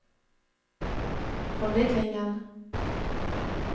formidlingen